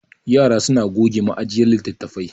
yara suna goge ma'jiyar litattafai